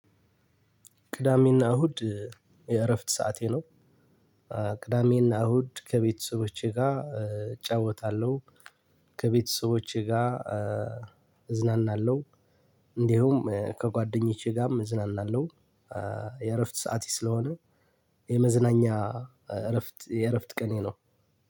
ቅዳሜና እሁድ የእረፍት ሰዓቴ ነው። ቅዳሜና እሁድ ከቤተሰቦቼ ጋር እጫወታለሁ። ከቤተሰቦቼ ጋር እዝናናለሁ። እንዲሁም ከጓደኞቼ ጋም እዝናናለሁ። የእረፍት ሰዓቴ ስለሆነ የመዝናኛ እረፍት የእረፍት ቀኔ ነው።